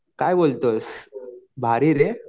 काय बोलतोस भारी रे.